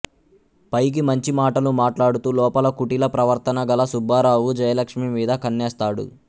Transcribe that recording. పైకి మంచి మాటలు మాట్లాడుతూ లోపల కుటిల ప్రవర్తన గల సుబ్బారావు జయలక్ష్మి మీద కన్నేస్తాడు